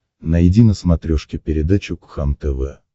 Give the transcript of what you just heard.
найди на смотрешке передачу кхлм тв